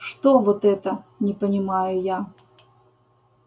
что вот это не понимаю я